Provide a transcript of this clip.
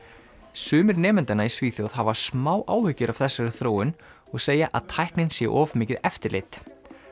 sumir nemendanna í Svíþjóð hafa smá áhyggjur af þessari þróun og segja að tæknin sé of mikið eftirlit